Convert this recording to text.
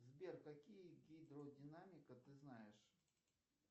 сбер какие гидродинамика ты знаешь